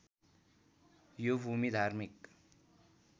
यो भूमि धार्मिक